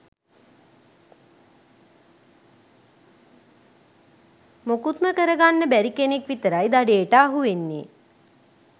මුකුත්ම කරගන්න බැරි කෙනෙක් විතරයි දඩේට අහු වෙන්නේ.